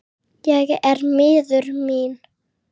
Ég er miður mín.